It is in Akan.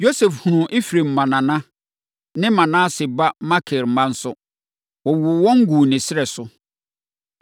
Yosef hunuu Efraim mma nana ne Manase ba Makir mma nso. Wɔwoo wɔn guu ne srɛ so.